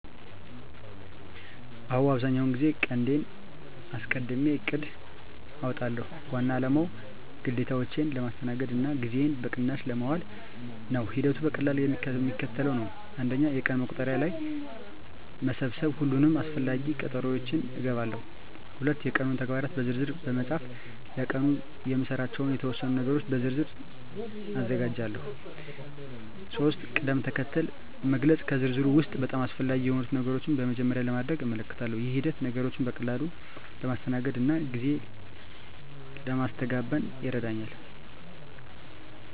አዎ፣ አብዛኛውን ጊዜ ቀንዴን አስቀድሜ እቅድ አውጣለሁ። ዋና አላማው ግዴታዎቼን ለማስተናገድ እና ጊዜዬን በቅናሽ ለማዋል ነው። ሂደቱ በቀላሉ የሚከተለው ነው፦ 1. የቀን መቁጠሪያ ላይ መሰብሰብ ሁሉንም አስፈላጊ ቀጠሮዎቼን እገባለሁ። 2. የቀኑን ተግባራት በዝርዝር መፃፍ ለቀኑ የምሰራባቸውን የተወሰኑ ነገሮች በዝርዝር ዝርዝር አዘጋጃለሁ። 3. ቅድም-ተከተል መግለጽ ከዝርዝሩ ውስጥ በጣም አስፈላጊ የሆኑትን ነገሮች በመጀመሪያ ለማድረግ እመልከታለሁ። ይህ ሂደት ነገሮችን በቀላሉ ለማስተናገድ እና ጊዜ ለማስተጋበን ይረዳኛል።